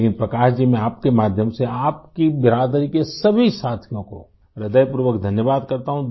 लेकिन प्रकाश जी मैं आपके माध्यम से आपकी बिरादरी के सभी साथियों को हृदयपूर्वक धन्यवाद करता हूँ